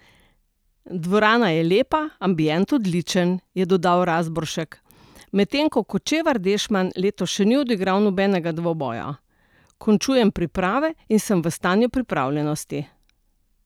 Dvorana je lepa, ambient odličen", je dodal Razboršek, medtem ko Kočevar Dešman letos še ni odigral nobenega dvoboja: "Končujem priprave in sem v stanju pripravljenosti.